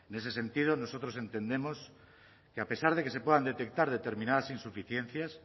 ese sentido nosotros entendemos que a pesar de que se puedan detectar determinadas insuficiencias